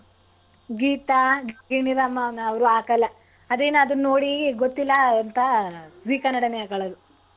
ಗೀತಾ, ಗಿಣಿರಾಮ ಅದನ್ನ ಅವ್ರ್ ಹಾಕಲ್ಲ ಅದೇನ್ ಅದನ್ನ ನೋಡಿ ಗೊತ್ತಿಲ್ಲ ಅಂತ ಆ zee ಕನ್ನಡಾನೇ ಹಾಕ್ಕೊಳೋದು.